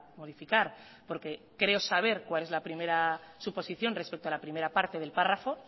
modificar porque creo saber cuál es la primera suposición respecto a la primera parte del párrafo